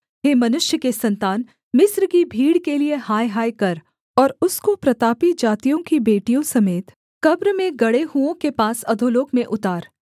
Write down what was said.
हे मनुष्य के सन्तान मिस्र की भीड़ के लिये हायहाय कर और उसको प्रतापी जातियों की बेटियों समेत कब्र में गड़े हुओं के पास अधोलोक में उतार